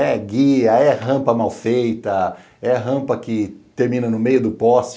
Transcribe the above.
É guia, é rampa mal feita, é rampa que termina no meio do poste.